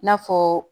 I n'a fɔ